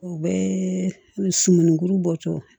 U bɛ sumani kuru bɔtɔ